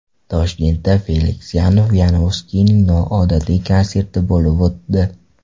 Toshkentda Feliks Yanov-Yanovskiyning noodatiy konserti bo‘lib o‘tdi.